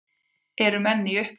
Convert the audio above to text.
Eru menn í uppnámi?